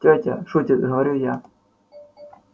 тётя шутит говорю я